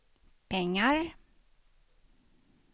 pengar